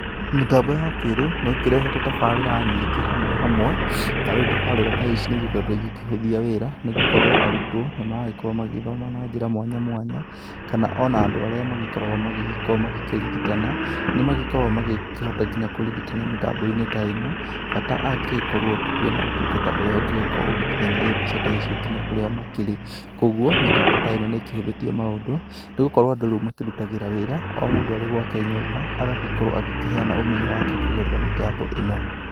Mĩtambo ya kĩrĩu nĩĩkĩrehete tabarira nyĩngi hamwe hamwe, na rĩu tabarira ta ĩcĩ nĩ ĩkoretwo ĩkihũthia wĩra nĩ gũkorwo arutwo nĩmagikorwo magĩthoma na njĩra mwanya mwanya kana ona andũ arĩa makoragwo makĩrĩgitana nĩmakogwo magĩkihota nginya kũrĩgitana mitambo-ĩnĩ ta ĩno bata agĩkorwo kwĩna ũtungata ũrĩa ũngikorwo ũgĩkinyanĩria mbica ta ĩcio ngĩnya kũria makĩrĩ kwa ogwo mitambo ta ĩno nĩkĩhuthitie maũndũ nĩgũkorwo andũ makĩrutagĩra wĩra oo mũndũ arĩ gwake nyumba agagikorwo akĩheana ũmenyo wake kũgerera mitambo ĩno.